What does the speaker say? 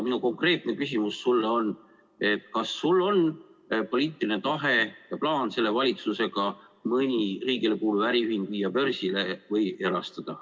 Minu konkreetne küsimus sulle ongi, kas sul on poliitiline tahe ja plaan selle valitsusega mõni riigile kuuluv äriühing börsile viia või erastada.